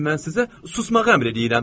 Mən sizə susmağı əmr eləyirəm.